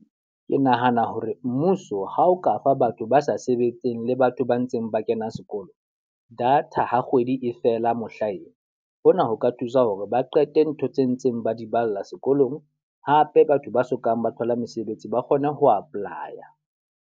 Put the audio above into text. Ke nahana hore mmuso ha o ka fa batho ba sa sebetseng le batho ba ntseng ba kena sekolo data ha kgwedi e fela mohlaena. Hona ho ka thusa hore ba qete ntho tse ntseng ba di balla sekolong. Hape, batho ba sokang ba thola mesebetsi ba kgone ho apply-a.